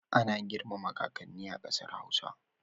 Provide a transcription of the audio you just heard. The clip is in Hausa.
Ana girmama kakanni a ƙasar hausa